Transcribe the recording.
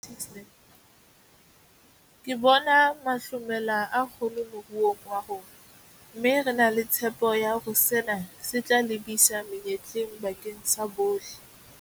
Ke bona mahlomela a kgolo moruong wa rona, mme re na le tshepo ya hore sena se tla lebisa menyetleng bakeng sa bohle.